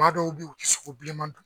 Maa dɔw bɛ yen o ti sogo bilenman dun